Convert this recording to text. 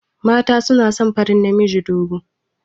Mata suna son farin namiji dogo.